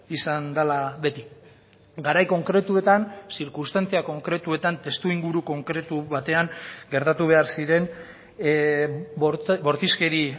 izan dela beti garai konkretuetan zirkunstantzia konkretuetan testuinguru konkretu batean gertatu behar ziren bortizkeri